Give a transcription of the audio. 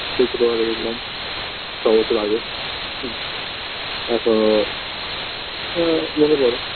সেই ছোটবেলায় দেখেছিলাম ছবছর আগে এখনও আ মনে পড়ে